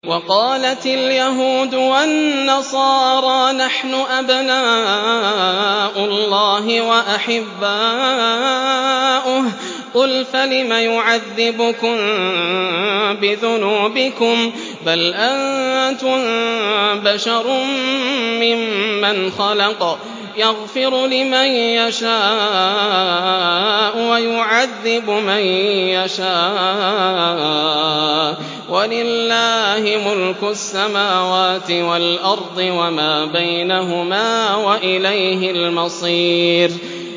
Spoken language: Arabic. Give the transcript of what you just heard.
وَقَالَتِ الْيَهُودُ وَالنَّصَارَىٰ نَحْنُ أَبْنَاءُ اللَّهِ وَأَحِبَّاؤُهُ ۚ قُلْ فَلِمَ يُعَذِّبُكُم بِذُنُوبِكُم ۖ بَلْ أَنتُم بَشَرٌ مِّمَّنْ خَلَقَ ۚ يَغْفِرُ لِمَن يَشَاءُ وَيُعَذِّبُ مَن يَشَاءُ ۚ وَلِلَّهِ مُلْكُ السَّمَاوَاتِ وَالْأَرْضِ وَمَا بَيْنَهُمَا ۖ وَإِلَيْهِ الْمَصِيرُ